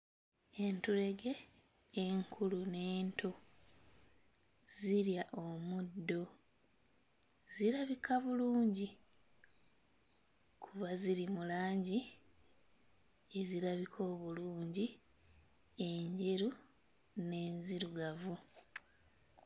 Entulege enkulu n'ento zirya omuddo. Zirabika bulungi kuba ziri mu langi ezirabika obulungi; enjeru n'enzirugavu.